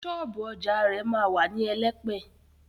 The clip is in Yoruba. Ṣọ́ọ̀bú ọjà rẹ̀ ma wà ní Elẹ́pẹ̀.